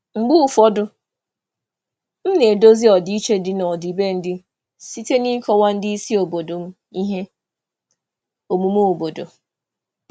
Mgbe ụfọdụ, ana m ejikọta ejikọta ọdịiche omenala site n'ịkọwa omume obodo nye ndị oga m si mba ọzọ.